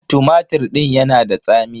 Tumatir din ya na da tsami.